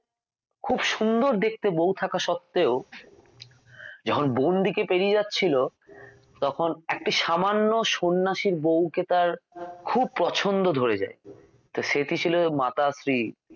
খুব সুন্দর দেখতে বউ থাকা সত্ত্বেও যখন বন্দিকে পেরিয়ে যাচ্ছিল তখন একটি সামান্য সন্ন্যাসীর বৌকে তাঁর খুব পছন্দ হয়ে যায় তো সেটি ছিল মাতাশ্রী